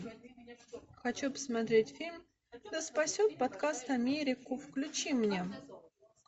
хочу посмотреть фильм да спасет подкаст америку включи мне